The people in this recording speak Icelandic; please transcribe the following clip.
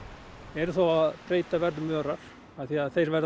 eru þá að breyta verðum örar af því þeir verða